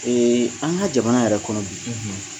Ee an ka jamana yɛrɛ kɔnɔ bi, ..